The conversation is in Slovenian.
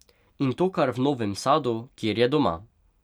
In to kar v Novem Sadu, kjer je doma.